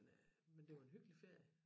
Men øh men det var en hyggelig ferie